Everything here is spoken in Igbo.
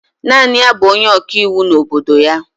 Naanị ya bụ onye ọkaiwu n'obodo ya